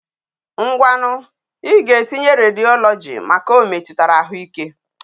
Ngwanu i ga etinye radiology maka o metutara ahu ike